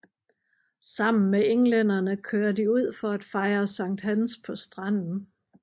Sammen med englænderne kører de ud for at fejre Sankt Hans på stranden